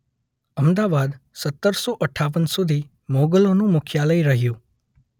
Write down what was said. અમદાવાદ સત્તરસો અઠ્ઠાવન સુધી મુગલોનું મુખ્યાલય રહ્યું